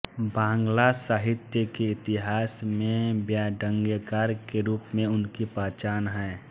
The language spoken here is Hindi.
बांग्ला साहित्य के इतिहास में ब्यङ्ग्यकार के रूप में उनकी पहचान है